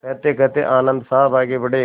कहतेकहते आनन्द साहब आगे बढ़े